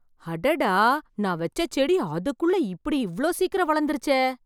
அடடா! நான் வச்ச செடி அதுக்குள்ளே இப்படி இவ்ளோ சீக்கிரம் வளர்ந்துருச்சே !